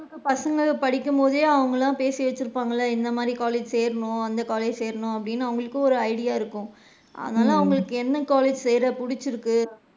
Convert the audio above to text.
பசங்க படிக்கும் போதே அவுங்கலாம் பேசி வச்சு இருப்பான்கள என்ன மாதிரி college சேரனும், எந்த college சேரனும்ன்னு அவுங்களுக்கு ஒரு idea இருக்கும் அதனால அவுங்களுக்கு என்ன college சேர புடிச்சிருக்கு,